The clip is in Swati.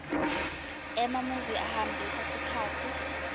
emamuvi ahambisa sikhatsi